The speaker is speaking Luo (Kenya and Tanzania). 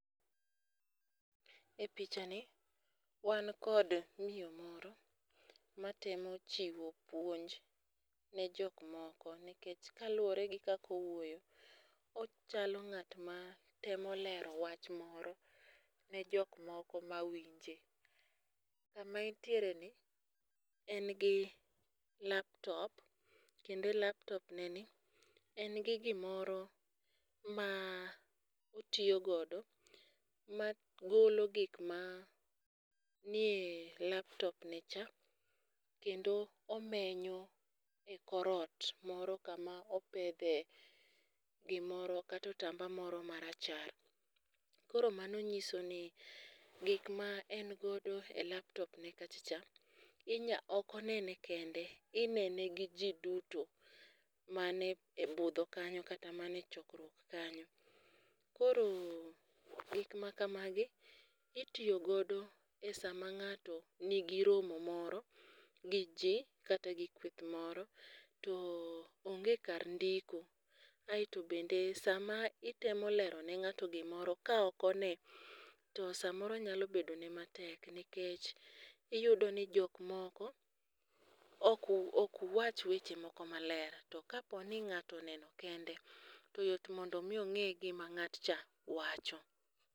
E picha ni wan kod miyo moro matemo chiwo puonj ne jok moko nikech kaluwore gi kako wuoyo, ochalo ng'at matemo lero wach moro ne jok moko ma winje. Kama entiere ni en gi laptop kendo laptop ne ni en gi gimoro ma otiyo godo ma golo gik ma nie laptop ne cha kendo omenyo e korot moro kama opedhe gimoro kato otamba moro marachar. Koro mano nyiso ni gik ma en godo e laptop ne kachacha inya ok onene kende inene gi jii duto mane e budho kanyo kata mane chokruok kanyo . Koro gik ma kamagi itiyo godo e sama ng'ato nigi romo moro gi jii kata gi kweth moro to onge kar ndiko. Aeto bende sama itemo lero ne ng'ato gimoro ka ok one to samoro nyalo bedo ne matek nikech iyudo ni jok moko ok ok wach weche moko maler. To ka ng'ato oneneo kende to yot mondo mi ong'e gima ng'at cha wacho.